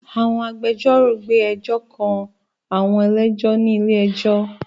Àwọn agbẹjọ́rò gbé ẹjọ́ kan àwọn ẹlẹ́jọ́ ní ilé ẹjọ́